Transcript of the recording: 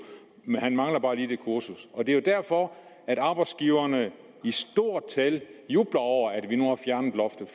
men han manglede bare lige det kursus og det er jo derfor at arbejdsgiverne i stort tal jubler over at